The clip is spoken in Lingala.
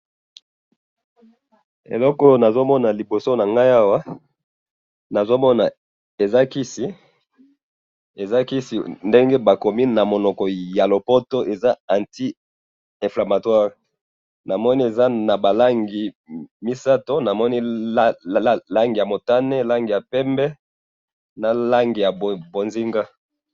eloko oyo nazo mona liboso nanga awa eza kisi ndenge ba komi na munoko ya lopoto anti inflamatoire na moni eza naba langi misatu langi ya motane ya pembe na langi bonzinga